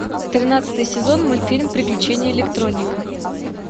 тринадцатый сезон мультфильм приключения электроника